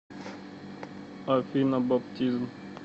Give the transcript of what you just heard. афина баптизм